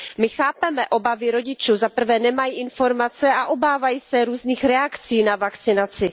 My chápeme obavy rodičů, za prvé nemají informace a obávají se různých reakcí na vakcinaci.